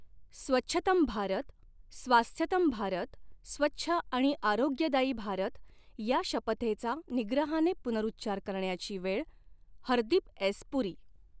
स्वच्छतम् भारत, स्वास्थ्यतम् भारत स्वच्छ आणि आरोग्यदायी भारत या शपथेचा निग्रहाने पुनर्उच्चार करण्याची वेळ, हरदीप एस पुरी